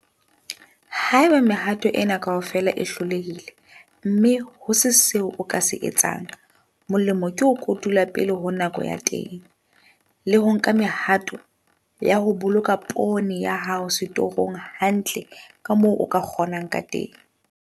Haeba mehato ena kaofela e hlolehile, mme ho se seo o ka se etsang, molemo ke ho kotula pele ho nako ya teng, le ho nka mehato ya ho boloka poone ya hao setorong hantle ka moo o ka kgonang ka teng.